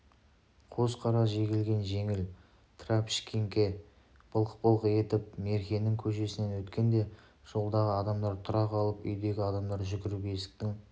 қос қара жегілген жеңіл трашпеңке былқ-былқ етіп меркенің көшесінен өткенде жолдағы адамдар тұра қалып үйдегі адамдар жүгіріп есіктің